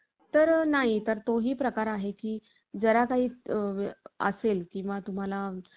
तर नाही तर तोही प्रकार आहे की जरा काही असेल किंवा तुम्हाला